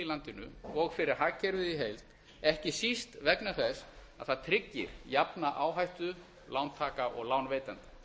landinu og fyrir hagkerfið í heild ekki síst vegna þess að það tryggir jafna áhættu lántaka og lánveitenda